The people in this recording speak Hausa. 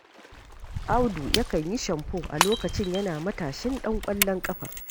Audu yakan yi shamfo, a lokacin yana matashin ɗan ƙwallon ƙafa.